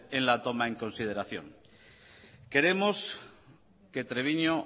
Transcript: en la toma en consideración queremos que treviño